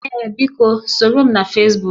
Ee biko, soro m na Fesbuk